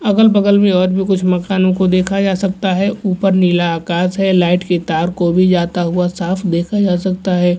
अगल-बगल में और भी कुछ मकानों को देखा जा सकता है ऊपर नीला आकाश है लाइट के तार को भी जाता हुआ साफ देखा जा सकता है।